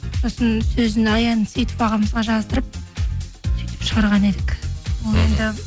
сосын сөзін аян сейтов ағамызға жаздырып шығарған едік